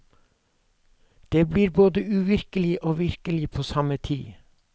Det blir både uvirkelig og virkelig på samme tid.